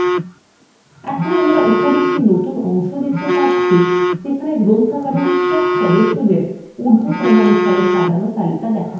এখন আমরা উপরে একটি সম্পূর্ণ নতুন অংশ দেখতে পাচ্ছি যেখানে গ্রন্থাগারের সব সদস্যদের নাম উর্ধক্রমানুসারে সাজানো রয়েছে